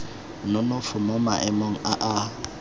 nonofo mo maemong a a